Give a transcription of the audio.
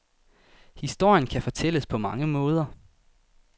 Historien kan fortælles på mange måder.